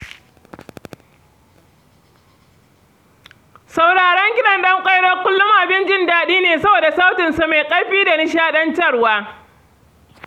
Sauraron kiɗan Ɗan Ƙwairo kullum abin jin daɗi ne saboda sautin sa mai ƙarfi da nishaɗantarwa.